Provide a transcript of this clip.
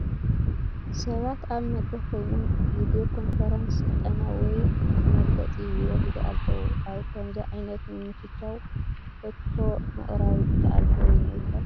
ሰባት ኣብ መድረኽ ኮይኖም ብቪድዮ ኮንፈረንስ ስልጠና ወይ መግለፂ ይወስዱ ኣለዉ፡፡ ኣብ ከምዚ ዓይነት ምምችቻው ሕቶ ምቕራብ ይከኣል ዶ ይኾን?